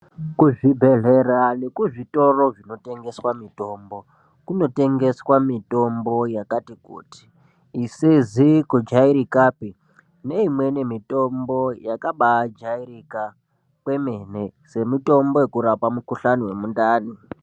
Kuzvibhedhlera nemuzvitoro zvinotengeswa mitombo kunotengeswa mitombo yakati kuti isizi kujairikapi neimweni mitombo yakabajairika kwemene semutombo wekurapa mukhuhlani wemundani.